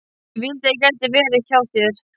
Ég vildi að ég gæti verið hjá þér.